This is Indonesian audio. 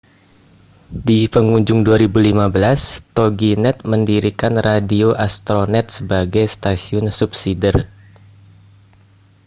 di pengujung 2015 toginet mendirikan radio astronet sebagai stasiun subsider